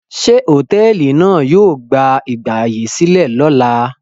Ṣé hòtẹ́ẹ́lì náà yóò gba ìgbàyèsílẹ̀ lọ́la?